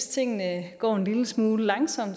tingene går en lille smule langsomt